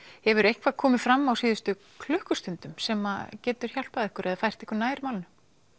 hefur eitthvað komið fram á síðustu klukkustundum sem gæti hjálpað ykkur eða fært ykkur nær málinu